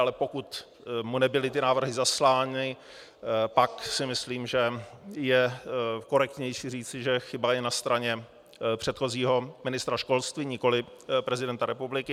Ale pokud mu nebyly ty návrhy zaslány, pak si myslím, že je korektnější říci, že chyba je na straně předchozího ministra školství, nikoli prezidenta republiky.